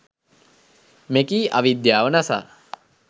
මෙකී අවිද්‍යාව නසා